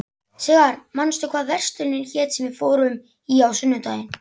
Sigarr, manstu hvað verslunin hét sem við fórum í á sunnudaginn?